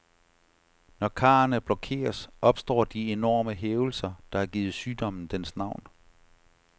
Når karrene blokeres, opstår de enorme hævelser, der har givet sygdommen dens navn.